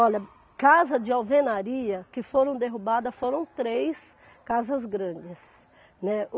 Olha, casa de alvenaria que foram derrubadas foram três casas grandes, né.